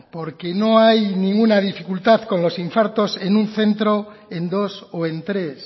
porque no hay ninguna dificultad con los infartos en un centro o en dos o en tres